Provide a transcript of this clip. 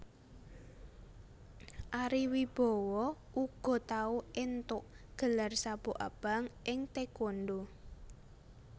Ari Wibowo uga tau éntuk gelar sabuk abang ing taekwondo